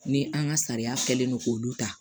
Ni an ka sariya kɛlen do k'olu ta